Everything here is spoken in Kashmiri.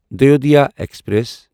دایودایا ایکسپریس